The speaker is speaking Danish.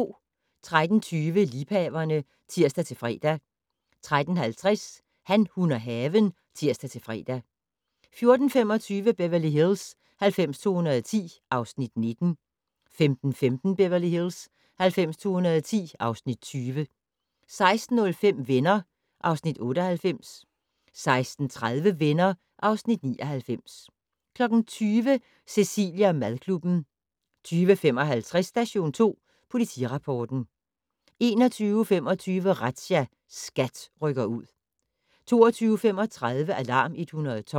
13:20: Liebhaverne (tir-fre) 13:50: Han, hun og haven (tir-fre) 14:25: Beverly Hills 90210 (Afs. 19) 15:15: Beverly Hills 90210 (Afs. 20) 16:05: Venner (Afs. 98) 16:30: Venner (Afs. 99) 20:00: Cecilie & madklubben 20:55: Station 2 Politirapporten 21:25: Razzia - SKAT rykker ud 22:35: Alarm 112